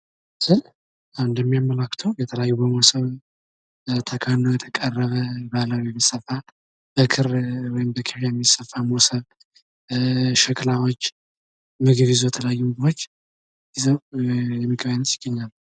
ይህ ምስል አንድም የሚያመላክተው የተለያዩ በሞሰብ ተከድኖ የቀረበ ባህላዊ የተሰፋ በክር ወይም በኬሻ ሞሰብ ሸክላዎች ምግብ ይዞ የተለያዩ ምግቦች ይዘው ይገኛሉ።